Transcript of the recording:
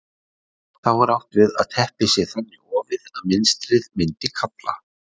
þá er átt við að teppið sé þannig ofið að mynstrið myndi kafla